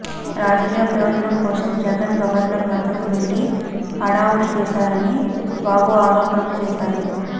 రాజకీయ ప్రయోజనం కోసం జగన్ గవర్నర్ వద్దకు వెళ్ళి హడావుడి చేశారని బాబు ఆరోపణలు చేశారు